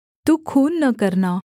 तू खून न करना